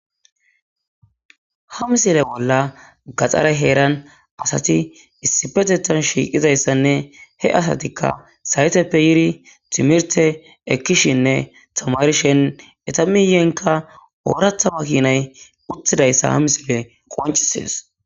Ha misile bolla gaxare heeran asati issipe shiiqidi,he asatika sayteppe yiidi timirte ekkishene tamarishe eeta miyenka ooratha makinay uttidaysa ha misiley qoncisees.